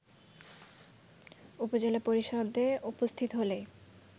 উপজেলা পরিষদে উপস্থিত হলেই